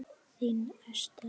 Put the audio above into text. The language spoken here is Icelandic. Þín Esther.